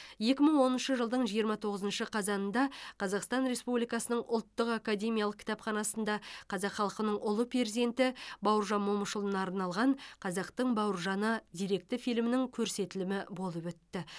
екі мың оныншы жылдың жиырма тоғызыншы қазанында қазақстан республикасының ұлттық академиялық кітапханасында қазақ халқының ұлы перзенті бауыржан момышұлына арналған қазақтың бауыржаны деректі фильмінің көрсетілімі болып өтті